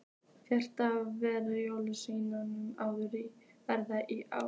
Frank, hvernig hefur jólaverslunin verið í ár?